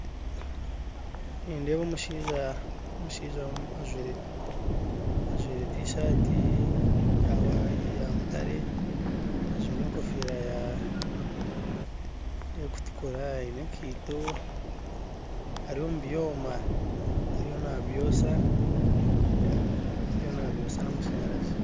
Nindeeba omushaija ajwire tishaati eya mutaare, ajwire egofiira erikutukura aine ekaito, ari omu byoma, ariyo n'abyosya n'amashanyarazi